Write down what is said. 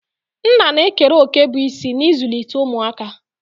Nna na-ekere òkè bụ́ isi n'ịzụlite ụmụaka